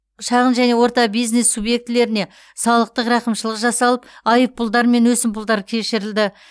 шағын және орта бизнес субъектілеріне салықтық рақымшылық жасалып айыппұлдар мен өсімпұлдар кешірілді